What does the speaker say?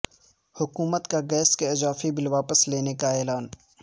حکومت کا گیس کے اضافی بل واپس لینے کا اعلان